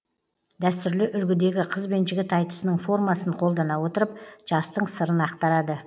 дәстүрлі үлгідегі қыз бен жігіт айтысының формасын қолдана отырып жастың сырын ақтарады